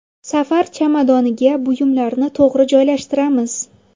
Safar chamadoniga buyumlarni to‘g‘ri joylashtiramiz.